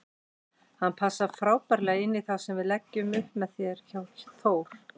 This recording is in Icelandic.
Hann passar frábærlega inní það sem við leggjum upp með hér hjá Þór.